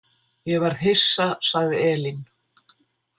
Ég varð hissa, sagði Elín.